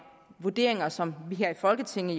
vurderinger som vi her i folketinget